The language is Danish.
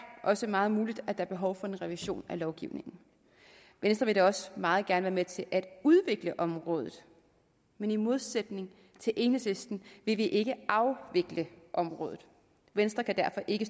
også meget muligt at der er behov for en revision af lovgivningen venstre vil da også meget gerne være med til at udvikle området men i modsætning til enhedslisten vil vi ikke afvikle området venstre kan derfor ikke